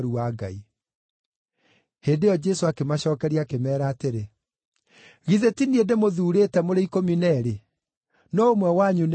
Hĩndĩ ĩyo Jesũ akĩmacookeria akĩmeera atĩrĩ, “Githĩ ti niĩ ndĩmũthuurĩte mũrĩ ikũmi na eerĩ? No ũmwe wanyu nĩ ndaimono!”